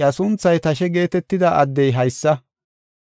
iya sunthay ‘Tashe geetetida addey haysa.